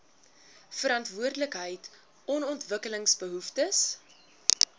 verantwoordelikheid on ontwikkelingsbehoeftes